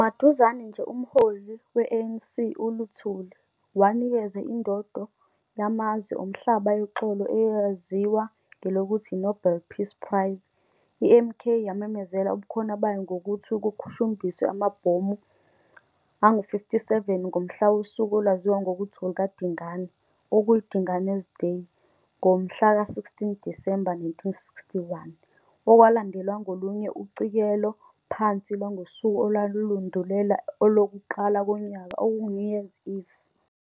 Maduzane nje, umholi we-ANC uLuthili, wanikezwa indondo yamazwe omhlaba yoxolo eyeziwa ngelokuthi yi-Nobel Peace Prize, i-MK yamemezela ubukhona bayo ngokuthi kuqhushumbiswe amabhomu angu 57 ngomhla wosuku olwaziwa ngokuthi olukaDingane, okuyi- Dingane's Day, ngomhla ka16 Disemba, 1961, okwalandelwa ngolunye ucikelo phansi lwangosuku olwandulela olokuqaka konyaka okungu-New Year's Eve.